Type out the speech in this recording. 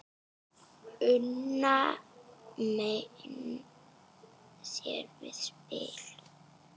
Una menn sér við spil.